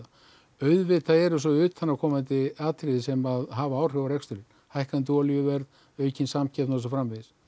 auðvitað eru svo utanaðkomandi atriði sem hafa áhrif á reksturinn hækkandi olíuverð aukin samkeppni og svo framvegis